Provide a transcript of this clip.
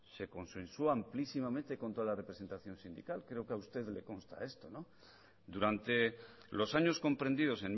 se consensuó amplísimamente contra la representación sindical creo que a usted le consta esto durante los años comprendidos